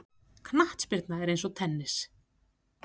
Knattspyrna er eins og tennis.